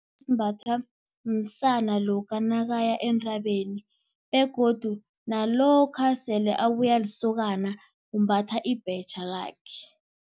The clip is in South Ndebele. Simbathwa msana lokha nakaya entabeni begodu nalokha sele abuya alisokana umbatha ibhetjha lakhe.